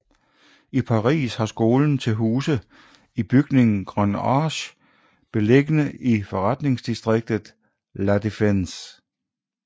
I Paris har skolen til huse i bygningen Grande Arche beliggende i forretningsdistriktet La Défense